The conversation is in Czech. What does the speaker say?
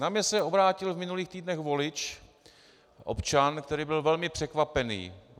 Na mě se obrátil v minulých týdnech volič, občan, který byl velmi překvapený.